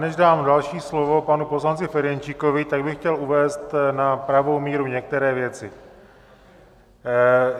Než dám další slovo panu poslanci Ferjenčíkovi, tak bych chtěl uvést na pravou míru některé věci.